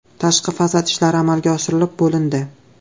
Tashqi fasad ishlari amalga oshirilib bo‘lindi.